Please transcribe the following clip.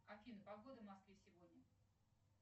афина погода в москве сегодня